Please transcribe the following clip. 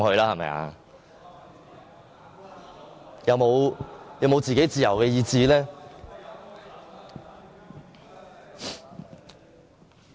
他們有沒有自己的自由意志呢？